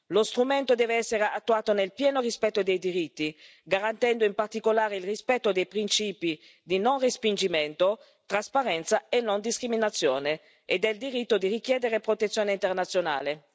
Lo strumento deve essere attuato nel pieno rispetto dei diritti, garantendo in particolare il rispetto dei principi di non respingimento, trasparenza e non discriminazione e del diritto di richiedere protezione internazionale.